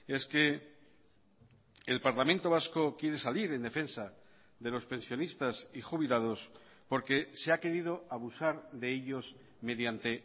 es que el parlamento vasco quiere salir en defensa de los pensionistas y jubilados porque se ha querido abusar de ellos mediante